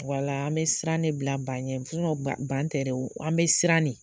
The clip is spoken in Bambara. Wala an bɛ siran ne bila ba ɲɛ ban ban tɛ dɛ. An bɛ siran ne.